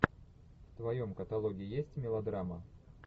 в твоем каталоге есть мелодрама